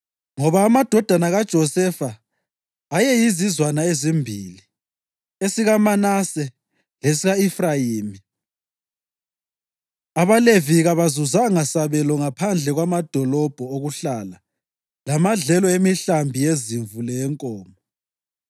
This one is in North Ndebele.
ngoba amadodana kaJosefa ayeyizizwana ezimbili, esikaManase lesika-Efrayimi. AbaLevi kabazuzanga sabelo ngaphandle kwamadolobho okuhlala lamadlelo emihlambi yezimvu leyenkomo.